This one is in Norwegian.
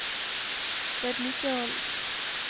vedlikehold